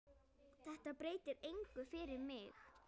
Þetta breytir engu fyrir mig.